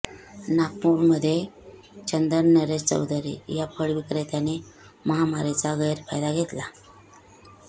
नागपूरमध्ये चंदन नरेश चौधरी या फळ विक्रेत्याने महामारीचा गैरफायदा घेतला